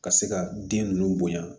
Ka se ka den ninnu bonya